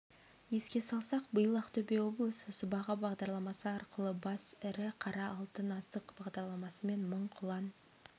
еске салсақ биыл ақтөбе облысы сыбаға бағдарламасы арқылы бас ірі қара алтын асық бағдарламасымен мың құлан